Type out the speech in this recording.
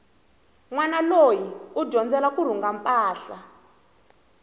nwana loyi u dyondzela kurhunga mpahla